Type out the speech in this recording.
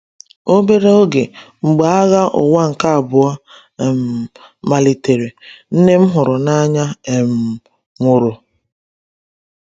Obere oge mgbe Agha Ụwa nke Abụọ um malitere, nne m hụrụ n’anya um nwụrụ.